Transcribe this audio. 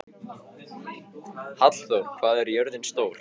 Hallþór, hvað er jörðin stór?